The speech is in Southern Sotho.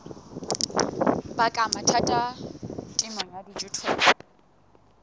baka mathata temong ya dijothollo